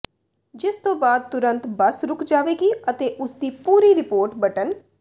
ਜਿਸ ਤੋਂ ਬਾਅਦ ਤੁਰੰਤ ਬੱਸ ਰੁੱਕ ਜਾਵੇਗੀ ਅਤੇ ਇਸ ਦੀ ਪੂਰੀ ਰਿਪੋਰਟ ਬਟਨ